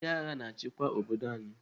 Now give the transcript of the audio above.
Ndị agha na-achịkwa obodo anyị.